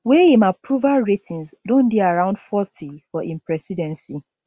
wey im approval ratings don dey around forty for im presidency